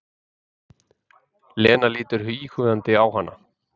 Lena lítur íhugandi á hana.